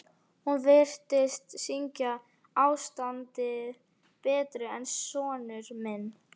Hún virtist skynja ástandið betur en sonur minn.